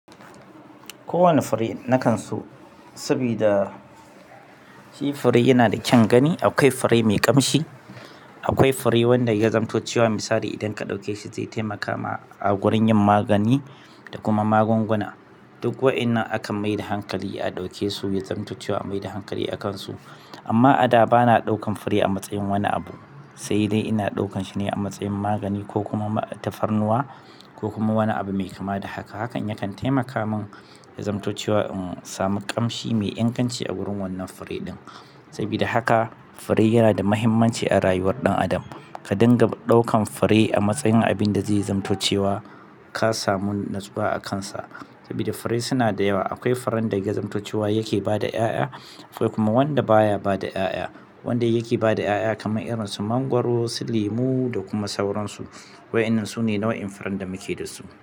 Kowane fure na kan su, saboda shi fure yana da kyan gani. Akwai fure mai ƙamshi, akwai fure wanda ya zamantacewa misali idan ka ɗauke shi zai taimaka ma a wurin yin magani da kuma magunguna. Duk wa'innan akan mai da hankali a ɗauke su, ya zamantace a mai da hankali a kan su. Amma a da ba na ɗaukan fure a matsayin wani abu. Sai dai ina ɗaukan shi ne a matsayin magani ko kuma tafarnuwa ko kuma wani abu mai kama da haka. Hakan yakan taimaka min ya zamantacewa in samu ƙamshi mai inganci a gurin wannan fure ɗin. Sabida haka fure yanada matuƙar muhimmanci a rayuwar dan adam. Ka dinga ɗaukan fure a matsayin abin da zai zaman to cewa ka samu nutsuwa a kansa. Saboda fure suna da yawa. Akwai furen da yazam to cewa yake bada ƴaƴa. Akwai kuma wanda baya ba da 'ya'ya. Wanda yake ba da 'ya'ya kamar irin su mangwaro, su lemu da kuma sauransu. Wa'innan su ne nau'in furen da muke da su.